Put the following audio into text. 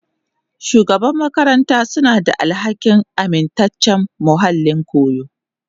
Shugaban makaranta suna da alhakin amintaccen muhallin koyo.